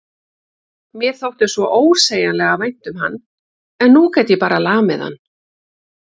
Mér þótti svo ósegjanlega vænt um hann en nú gat ég bara lamið hann.